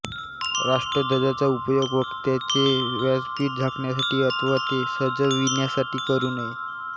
राष्ट्रध्वजाचा उपयोग वक्त्याचे व्यासपीठ झाकण्यासाठी अथवा ते सजविण्यासाठी करू नये